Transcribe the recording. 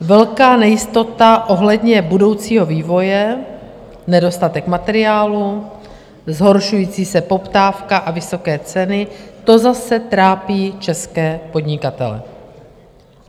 Velká nejistota ohledně budoucího vývoje, nedostatek materiálů, zhoršující se poptávka a vysoké ceny, to zase trápí české podnikatele.